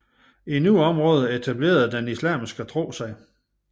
I nogle områder etablerede den islamske tro sig